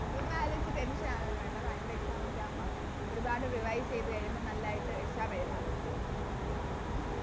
അതൊന്നും ആലോയിച്ച് Tension ആവൊന്നും വേണ്ട Final exam ഒക്കെ ആവുമ്പൊ ഒരുപാട് Revise ചെയ്ത കഴിയുമ്പോ നല്ലയിട്ട് Exam എഴുതാൻ പറ്റും